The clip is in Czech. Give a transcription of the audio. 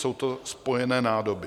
Jsou to spojené nádoby.